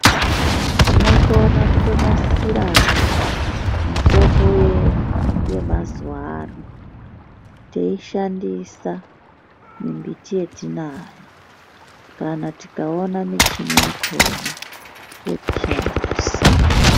Tinokona kuto nasirawo mitombo yedu yemazuwaano teyishandisa mimbiti yetinayo kana tikaona michini yakona yekushandisa.